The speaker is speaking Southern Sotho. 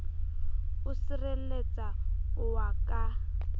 o sirelletsa o wa ka